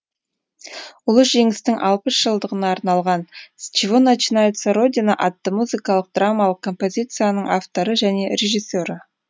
лы жеңістің алпыс жылдығына арналған с чего начинается родина атты музыкалық драмалық композициясының авторы және режиссері